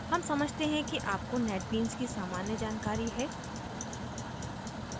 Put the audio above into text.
हम समझते हैं कि आपको netbeans की सामान्य जानकारी है